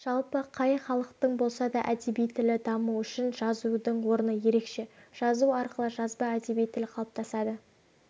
жалпы қай халықтың болса да әдеби тілі дамуы үшін жазудың орны ерекше жазу арқылы жазба әдеби тіл қалыптасады